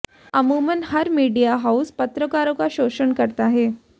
अमूमन हर media house पत्रकारों का शोषण करता है